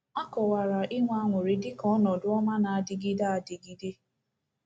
A kọwara inwe aṅụrị dị ka ọnọdụ ọma na-adịgide adịgide.